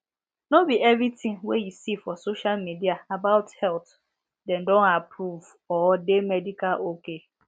no be every thing wey you see for social media about health dem don approved or de medical ok